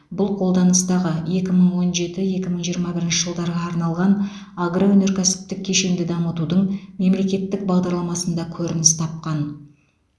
бұл қолданыстағы екі мың он жеті екі мың жиырма бірінші жылдарға арналған агроөнеркәсіптік кешенді дамытудың мемлекеттік бағдарламасында көрініс тапқан